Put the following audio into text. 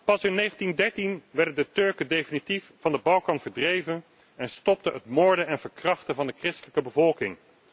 Pas in 1913 werden de Turken definitief van de Balkan verdreven en stopte het moorden en verkrachten van de christelijke bevolking.